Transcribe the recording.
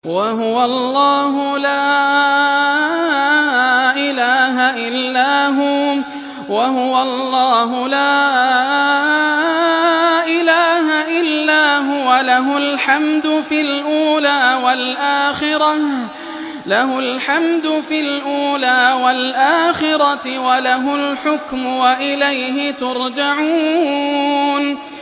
وَهُوَ اللَّهُ لَا إِلَٰهَ إِلَّا هُوَ ۖ لَهُ الْحَمْدُ فِي الْأُولَىٰ وَالْآخِرَةِ ۖ وَلَهُ الْحُكْمُ وَإِلَيْهِ تُرْجَعُونَ